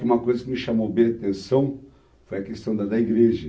E uma coisa que me chamou bem a atenção foi a questão da da igreja.